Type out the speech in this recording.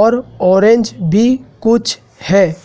और ऑरेंज भी कुछ है।